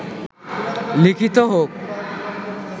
লিখিত হোক